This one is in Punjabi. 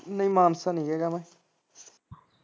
ਨਹੀਂ ਮਾਨਸਾ ਨੀ ਹੇਗਾ ਮੈਂ